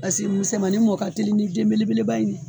Paseke musɛmanin mɔ ka teli ni denbelebeleba in ye.